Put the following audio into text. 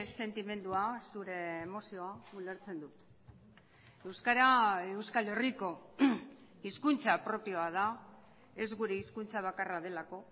sentimendua zure emozio ulertzen dut euskara euskal herriko hizkuntza propioa da ez gure hizkuntza bakarra delako